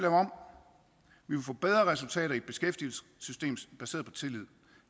om vi vil få bedre resultater i et beskæftigelsessystem baseret på tillid